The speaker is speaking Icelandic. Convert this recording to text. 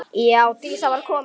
Já, Dísa var komin.